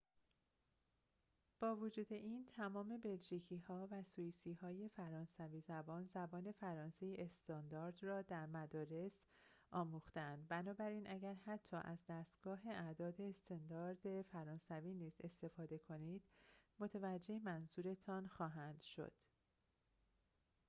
با وجود این تمام بلژیکی‌ها و سوئیسی‌های فرانسوی زبان زبان فرانسه استاندارد را در مدرسه آموخته‌اند بنابراین اگر حتی از دستگاه اعداد استاندارد فرانسوی نیز استفاده کنید متوجه منظورتان خواهند شد